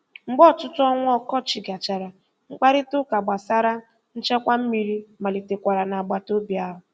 Mgbe ọtụtụ ọnwa ọkọchị gachara, mkparịtaụka gbasara nchekwa mmiri malitekwara n'agbataobi ahụ.